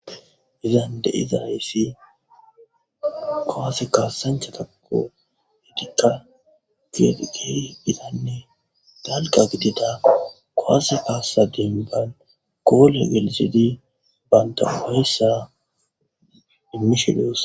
izan de'iza hessi koase kaasancha tako hediqa geediqi bidanne dalqa gidida kowase kaasa demban koole gelisidi banta uheyssa dimmishidos